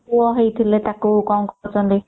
ପୁଅ ହେଇଥିଲେ ତାକୁ କଣ କରୁଛନ୍ତି